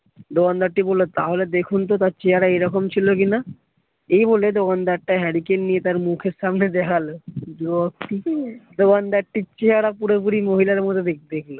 তাহলে দেখুন তো তার চেহারা এরকম ছিল কি না? এই বলে দোকানদারটা হ্যারিকেন নিয়ে তার মুখের সামনে দেখালো দোকানদারটির চেহারা পুরোপুরি মহিলার মতো দেখতে।